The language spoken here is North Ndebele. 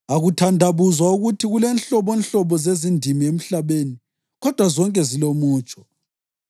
Akuthandabuzwa ukuthi kulenhlobonhlobo zezindimi emhlabeni kodwa zonke zilomutsho.